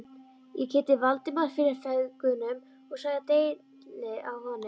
Ég kynnti Valdimar fyrir feðgunum og sagði deili á honum.